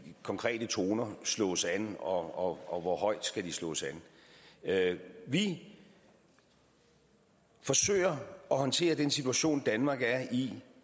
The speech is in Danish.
konkrete toner slås an og og hvor højt de skal slås an vi forsøger at håndtere den situation danmark er i